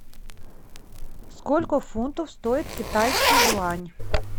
сколько фунтов стоит китайский юань